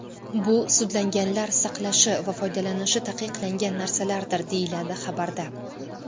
Bu sudlanganlar saqlashi va foydalanishi taqiqlangan narsalardir, deyiladi xabarda.